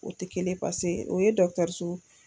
O tɛ kelen pase o ye dɔgtɔrso.